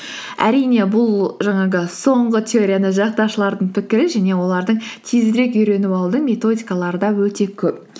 әрине бұл жаңағы соңғы теорияны жақтаушылардың пікірі және олардың тезірек үйреніп алудың методикалары да өте көп